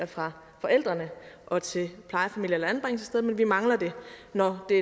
fra forældrene og til plejefamilie eller anbringelsessted men vi mangler det når det